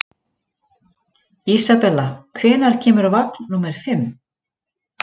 Isabella, hvenær kemur vagn númer fimm?